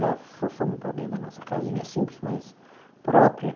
Já fomos para dentro da nossa casinha simples, mas própria.